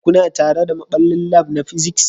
Kuna tare da maɓallin lab na physics